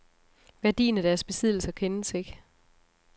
Værdien af deres besiddelser kendes ikke.